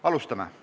Alustame!